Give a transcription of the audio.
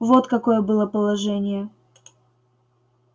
вот какое было положение